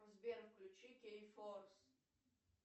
сбер включи кей форс